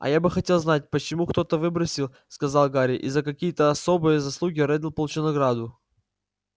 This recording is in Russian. а я бы хотел знать почему кто-то выбросил сказал гарри и за какие-то особые заслуги реддл получил награду